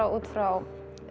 út frá